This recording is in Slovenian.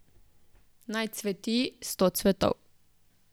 Naj cveti sto cvetov.